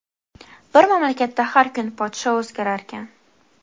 Bir mamlakatda har kuni podsho o‘zgararkan.